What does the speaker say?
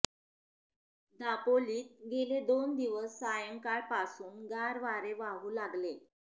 दापोलीत गेले दोन दिवस सायंकाळपासून गार वारे वाहू लागले